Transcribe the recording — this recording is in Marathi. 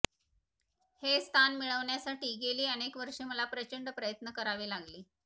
हे स्थान मिळविण्यासाठी गेली अनेक वर्षे मला प्रचंड प्रयत्न करावे लागले